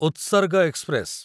ଉତ୍ସର୍ଗ ଏକ୍ସପ୍ରେସ